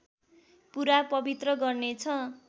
पुरा पवित्र गर्नेछ